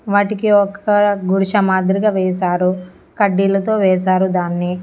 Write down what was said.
వాటికి ఒక గుడిశ మాదిరిగా వేసారు కడ్డీలతో వేసారు దాన్ని.